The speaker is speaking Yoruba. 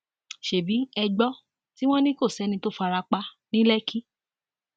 ṣebí ẹ gbọ tí wọn ní kò sẹni tó fara pa ní lẹkí